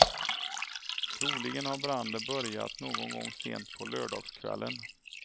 Troligen har branden börjat någon gång sent på lördagskvällen.